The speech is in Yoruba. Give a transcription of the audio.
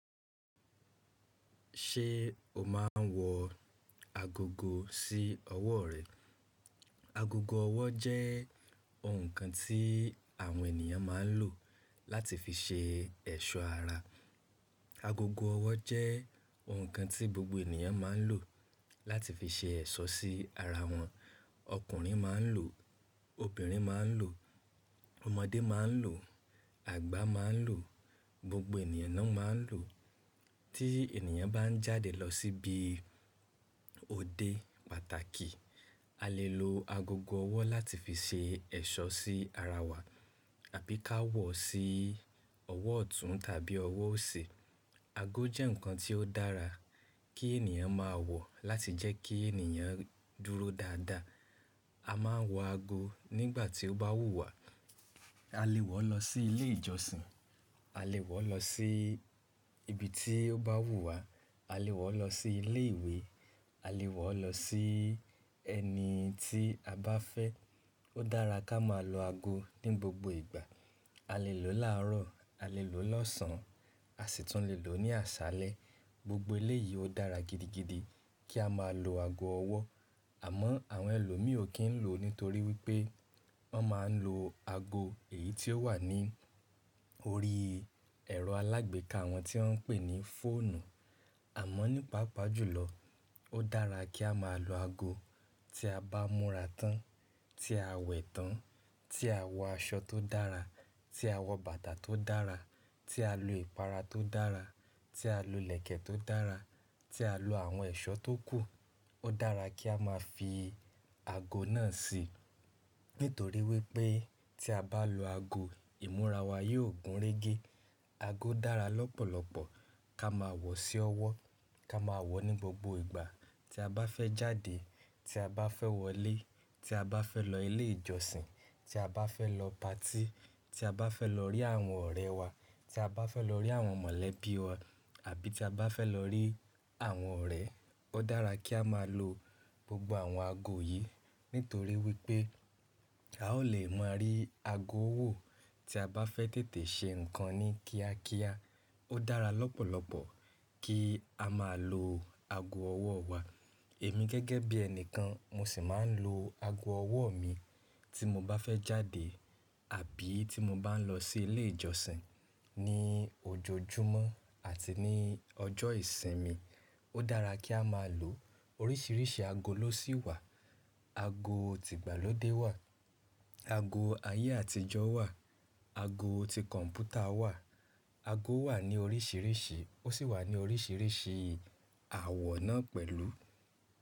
Ṣé o máa ń wọ agogo sí ọwọ́ rẹ? Agogo ọwọ́ jẹ́ ohun kan tí àwọn ènìyàn máa ń lò láti fi ṣe ẹ̀ṣọ́ ara. Agogo ọwọ́ jẹ́ ohun kan tí gbogbo ènìyàn máa ń lò láti fi ṣe ẹ̀ṣọ́ sí ara wọn. Ọkùnrin máa ń lò, obìnrin máa ń lò, ọmọdé máa ń lò, àgbà máa ń lò, gbogbo ènìyàn náà máa ń lò. Tí ènìyàn bá ń jáde lọ síbi òde pàtàkì, a lè lo agogo ọwọ́ láti fi ṣe ẹ̀ṣọ́ sí ara wa àbí ká wọ̀ sí ọwọ́ ọ̀tún tàbí ọwọ́ òsì. Aago jẹ́ nǹkan tí ó dára kí ènìyàn máa wọ̀ láti jẹ́ kí ènìyàn dúró dáadáa. A máa ń wọ ago nígbà tí ó bá wù wá. A lè wọ̀ lọ sí ilé ìjọsìn, a lè wọ̀ lọ sí ibi tí ó bá wù wá, a lè wọ̀ lọ sí ilé ìwé, a lè wọ̀ lọ sí ẹni tí a bá fẹ́. Ó dára ká máa lo aago ní gbogbo ìgbà. A lè lò láàárọ̀, a lè lò lọ́sàn-án, a sì tún lè lò ní àṣálẹ́. Gbogbo ilé yìí ó dára gidigidi kí a máa lo aago ọwọ́. Àmọ́ àwọn ẹlòmíì ò kí ń lò nítorí wípé wón máa ń lo aago èyí tí ó wà ní orí ẹ̀rọ alágbèéká wọn tí wón ń pè ní fóònù. Àmọ́ nípa pàjùlọ, ó dára kí a máa lo aago tí a bá múra tán, tí a wẹ̀ tán, tí a wọ aṣọ tó dára, tí a wọ bàtà tó dára, tí a lo ìpara tó dára, tí a lo ìlẹ̀kẹ̀ tó dára, tí a lo àwọn ẹ̀ṣọ́ tó kù. Ó dára kí a máa fi aago náà sí nítorí wípé tí a bá lo aago, ìmúra wa yóò gúnrégé. Aago dára lọ́pọ̀lọpọ̀ ká máa wọ̀ sí ọwọ́, ká máa wọ̀ ní gbogbo ìgbà tí a bá fẹ́ jáde, tí a bá fẹ́ wọlé, tí a bá fẹ́ lọ ilé ìjọsìn, tí a bá fẹ́ lọ patí, tí a bá fẹ́ lọ rí àwọn ọ̀rẹ́ wa, tí a bá fẹ́ lọ rí àwọn mọ̀lẹ́bí wa àbí tí a bá fẹ́ lọ rí àwọn ọ̀rẹ́. Ó dára kí a máa lo gbogbo àwọn ago yìí nítorí wípé a ó lè máa rí aago wò tí a bá fẹ́ tètè ṣe nǹkan ní kíákíá. Ó dára lọ́pọ̀lọpọ̀ kí a máa lo ago ọwọ́ wa. Èmi gẹ́gẹ́ bí ẹni kan mo sì máa ń lo aago ọwọ́ mi tí mo bá fẹ́ jáde àbí tí mo bá ń lọ sí ilé ìjọsìn ní ojoojúmọ́ àti ní ọjọ́ ìsinmi. Ó dára kí a máa lò. Oríṣiríṣi aago ló sì wà. Aago ti ìgbàlódé wà, ago ayé àtijọ́ wà, ago ti kọ̀m̀pútà wà. Aago wà ní oríṣiríṣi, ó sì wà ní oríṣiríṣi àwọ̀ náà pẹ̀lú.